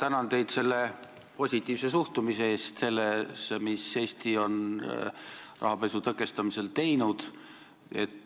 Ma tänan teid positiivse suhtumise eest sellesse, mis Eesti on rahapesu tõkestamisel teinud.